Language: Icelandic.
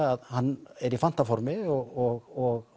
að hann er í fantaformi og